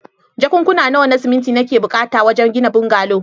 Jakunkuna nawa na siminti nake buƙata don gina bungalow.